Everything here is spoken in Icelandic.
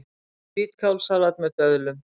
Hvítkálssalat með döðlum